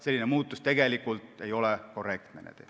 Selline muudatus ei ole tegelikult korrektne.